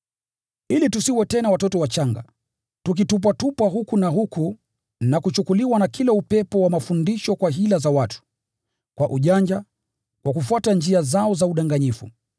Ili tusiwe tena watoto wachanga, tukitupwatupwa huku na huku na kuchukuliwa na kila upepo wa mafundisho kwa hila za watu, kwa ujanja, kwa kufuata njia zao za udanganyifu.